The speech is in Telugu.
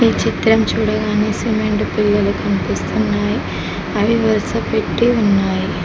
ఈ చిత్రం చూడగానే సిమెంట్ పిల్లలు కనిపిస్తున్నాయి అవి వరుస పెట్టీ ఉన్నాయి.